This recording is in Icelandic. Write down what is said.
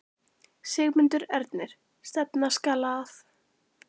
Sigmundur Ernir: Stefna skal að?